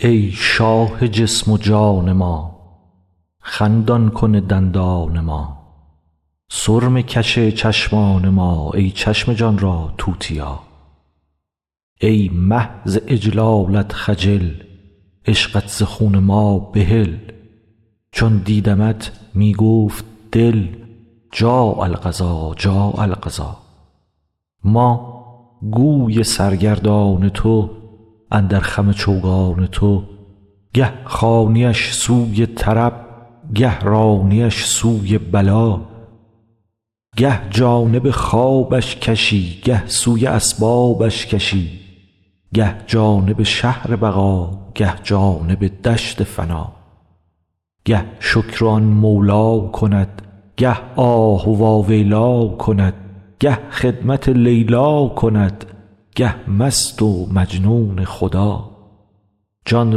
ای شاه جسم و جان ما خندان کن دندان ما سرمه کش چشمان ما ای چشم جان را توتیا ای مه ز اجلالت خجل عشقت ز خون ما بحل چون دیدمت می گفت دل جاء القضا جاء القضا ما گوی سرگردان تو اندر خم چوگان تو گه خوانی اش سوی طرب گه رانی اش سوی بلا گه جانب خوابش کشی گه سوی اسبابش کشی گه جانب شهر بقا گه جانب دشت فنا گه شکر آن مولی کند گه آه واویلی کند گه خدمت لیلی کند گه مست و مجنون خدا جان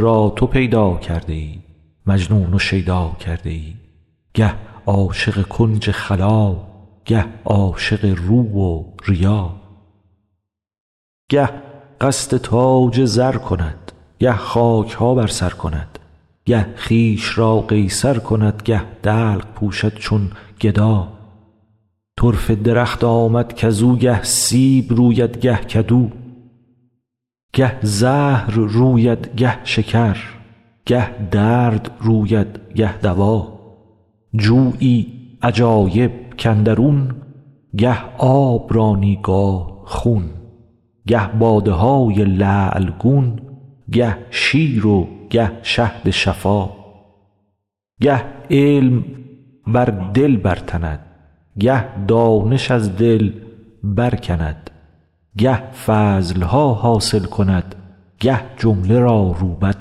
را تو پیدا کرده ای مجنون و شیدا کرده ای گه عاشق کنج خلا گه عاشق رو و ریا گه قصد تاج زر کند گه خاک ها بر سر کند گه خویش را قیصر کند گه دلق پوشد چون گدا طرفه درخت آمد کز او گه سیب روید گه کدو گه زهر روید گه شکر گه درد روید گه دوا جویی عجایب کاندرون گه آب رانی گاه خون گه باده های لعل گون گه شیر و گه شهد شفا گه علم بر دل برتند گه دانش از دل برکند گه فضل ها حاصل کند گه جمله را روبد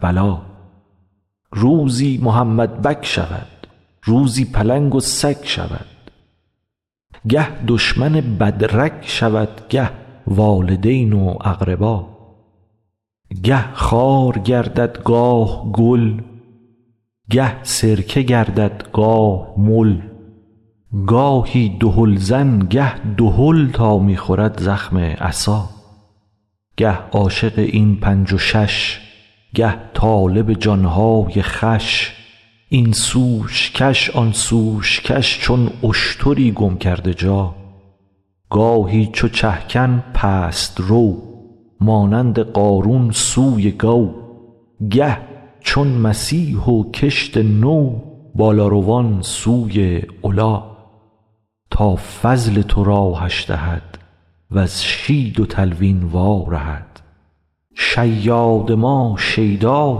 بلا روزی محمدبک شود روزی پلنگ و سگ شود گه دشمن بد رگ شود گه والدین و اقربا گه خار گردد گاه گل گه سرکه گردد گاه مل گاهی دهلزن گه دهل تا می خورد زخم عصا گه عاشق این پنج و شش گه طالب جان های خوش این سوش کش آن سوش کش چون اشتری گم کرده جا گاهی چو چه کن پست رو مانند قارون سوی گو گه چون مسیح و کشت نو بالاروان سوی علا تا فضل تو راهش دهد وز شید و تلوین وارهد شیاد ما شیدا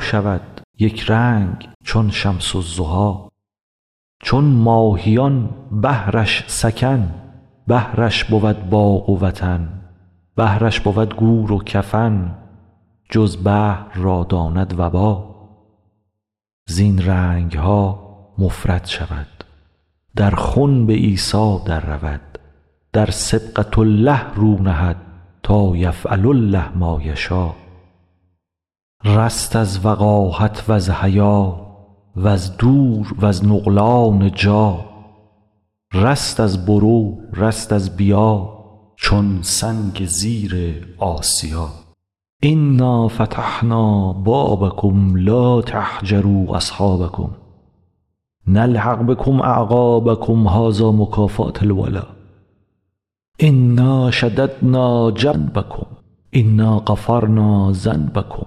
شود یک رنگ چون شمس الضحی چون ماهیان بحرش سکن بحرش بود باغ و وطن بحرش بود گور و کفن جز بحر را داند وبا زین رنگ ها مفرد شود در خنب عیسی دررود در صبغة الله رو نهد تا یفعل الله ما یشا رست از وقاحت وز حیا وز دور وز نقلان جا رست از برو رست از بیا چون سنگ زیر آسیا انا فتحنا بابکم لا تهجروا اصحابکم نلحق بکم اعقابکم هذا مکافات الولا انا شددنا جنبکم انا غفرنا ذنبکم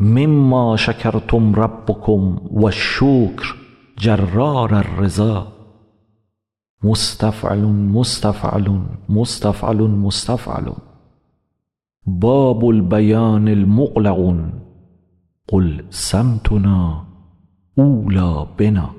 مما شکرتم ربکم و الشکر جرار الرضا مستفعلن مستفعلن مستفعلن مستفعلن باب البیان مغلق قل صمتنا اولی بنا